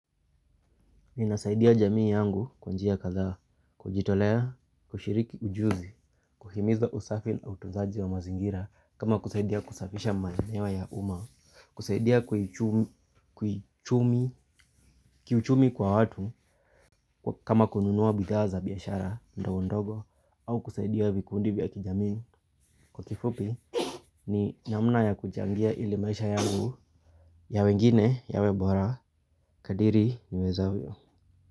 Ninasaidia jamii yangu kwa njia kadha kujitolea, kushiriki ujuzi, kuhimiza usafi na utunzaji wa mazingira kama kusaidia kusafisha maeneo ya umaa, kusaidia kiuchumi kwa watu kama kununua bidhaa za biashara ndogo ndogo au kusaidia vikundi vya kijamii kwa kifupi ni namna ya kuchangia ili maisha yangu ya wengine yawe bora kadiri niweza vyo.